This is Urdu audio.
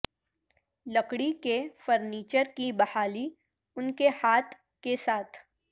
لکڑی کے فرنیچر کی بحالی ان کے ہاتھ کے ساتھ